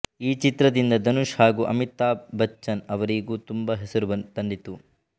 ಈ ಚಿತ್ರದಿಂದ ಧನುಷ್ ಹಾಗು ಅಮಿತಾಭ್ ಬಚ್ಚನ್ ರವರಿಗೂ ತುಂಬ ಹೆಸರು ತಂದಿತು